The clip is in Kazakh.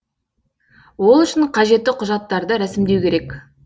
ол үшін қажетті құжаттарды рәсімдеу керек